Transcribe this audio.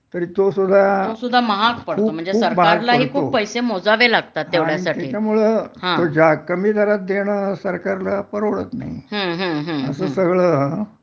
तरी तो सुद्धा खूप खूप महाग पडतो आणि त्याच्यामुळं तो कमी दरात देणं सरकारला परवडत नाही अस सगळं